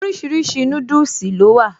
Oríṣiríṣi núdùsì ló wà